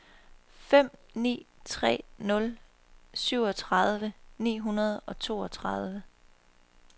fem ni tre nul syvogtredive ni hundrede og toogtredive